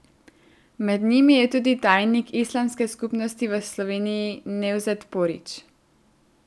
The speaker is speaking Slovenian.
Med njimi je tudi tajnik Islamske skupnosti v Sloveniji Nevzet Porić.